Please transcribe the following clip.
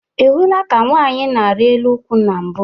Ị hụla ka nwaanyị na-arị elu nkwụ na mbụ?